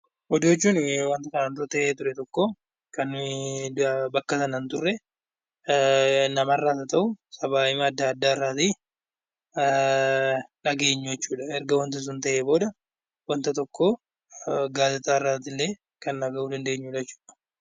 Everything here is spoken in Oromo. Oduu jechuun wanta kanaan dura ta'ee ture tokko kan nuyi bakka sana hin turre namarraas haa ta'u sabaa hima adda addaarrati dhageenyu jechuudha. Erga wanti sun ta'ee booda wanta tokkoo gaazexaarratillee kan dhagahu danndeenyudha jechudha.